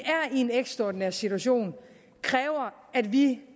en ekstraordinær situation kræver at vi